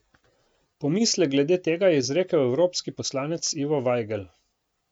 Pomislek glede tega je izrekel evropski poslanec Ivo Vajgl.